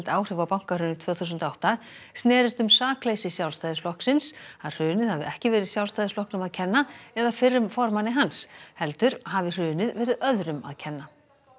áhrif á bankahrunið tvö þúsund og átta snerist um sakleysi Sjálfstæðisflokksins að hrunið hafi ekki verið Sjálfstæðisflokknum að kenna eða fyrrum formanni hans heldur hafi hrunið verið öðrum að kenna